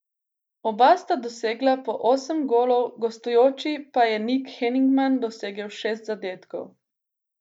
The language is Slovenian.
Oba sta dosegla po osem golov, v gostujoči pa je Nik Henigman dosegel šest zadetkov.